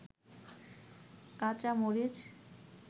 কাচা মরিচ